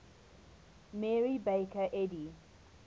mary baker eddy